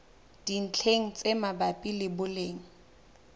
dintlheng tse mabapi le boleng